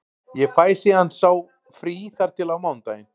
Ég fæ síðan sá frí þar til á mánudaginn.